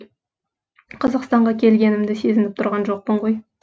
қазақстанға келгенімді сезініп тұрған жоқпын ғой